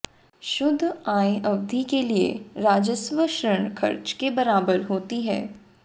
शुद्ध आय अवधि के लिए राजस्व ऋण खर्च के बराबर होती है